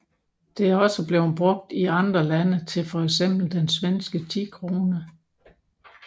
Det er også blevet brugt I andre lande til for eksempel den svenske 10 krone